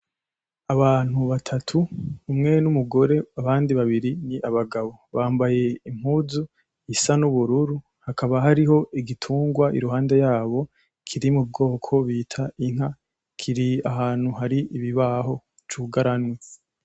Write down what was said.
Abantu batatu umwe n'umugore abandi babiri ni abagabo bambaye impuzu isa n'ubururu hakaba hariho igitungwa iruhande yabo kiri mubwoko bita inka kiri ahantu hari ibibaho c'ugaranwe